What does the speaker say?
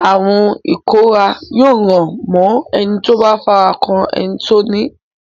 Àrùn ìkóràn yóò ràn mọ́ ẹni tó bá fara kan ẹni tó ní.